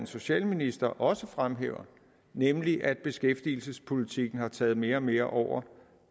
socialministre også fremhæver nemlig det at beskæftigelsespolitikken har taget mere og mere over